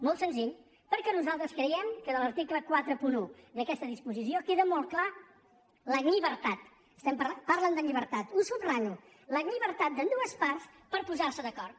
molt senzill perquè nosaltres creiem que en l’article quaranta un d’aquesta disposició queda molt clara la llibertat parlen de llibertat ho subratllo d’amb·dues parts per posar·se d’acord